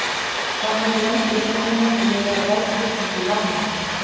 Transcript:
Hvað mörg lönd í heiminum leyfa verðtryggingu lána?